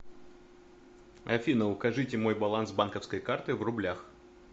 афина укажите мой баланс банковской карты в рублях